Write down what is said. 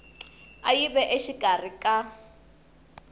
a yi ve exikarhi ka